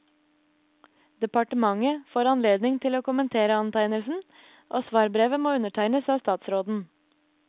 Departementet får anledning til å kommentere antegnelsen, og svarbrevet må undertegnes av statsråden.